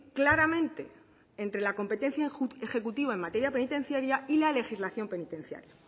claramente entre la competencia ejecutiva en materia penitenciaria y la legislación penitenciaria